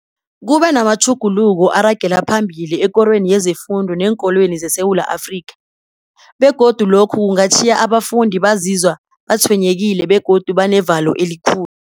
Kube namatjhuguluko aragela phambili ekorweni yezefundo neenkolweni zeSewula Afrika, begodu lokho kungatjhiya abafundi bazizwa batshwenyekile begodu banevalo elikhulu.